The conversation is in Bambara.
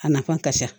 A nafa ka ca